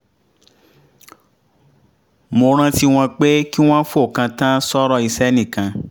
mo rántí wọn pé kí wọ́n fokàn tán s’ọ̀rọ̀ iṣẹ́ nìkan